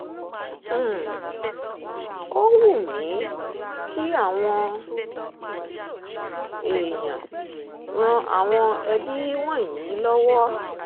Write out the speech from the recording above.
um ó wù mí kí àwọn um èèyàn ran àwọn ẹbí wọ̀nyí ẹbí wọ̀nyí lọ́wọ́